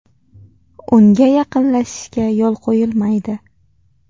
Unga yaqinlashishga yo‘l qo‘yilmaydi.